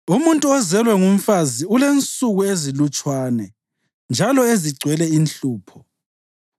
“Umuntu ozelwe ngumfazi ulensuku ezilutshwane njalo ezigcwele inhlupho.